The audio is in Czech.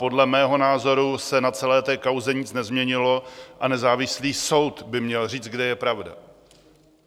Podle mého názoru se na celé té kauze nic nezměnilo a nezávislý soud by měl říct, kde je pravda.